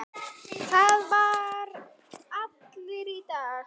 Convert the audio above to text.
Það vita allir í dag.